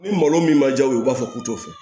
Ni malo min ma ja u b'a fɔ k'u t'o fɛ